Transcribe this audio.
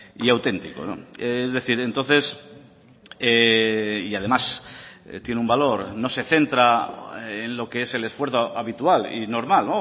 y auténtico es decir entonces y además tiene un valor no se centra en lo que es el esfuerzo habitual y normal